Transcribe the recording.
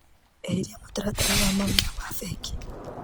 Eheria mũtaratara wa mawĩra ma bengi.